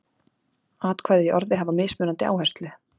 Atkvæði í orði hafa mismunandi áherslu.